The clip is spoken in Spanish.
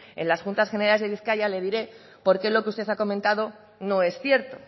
en las juntas general de bizkaia le diré por qué lo que usted ha comentado no es cierto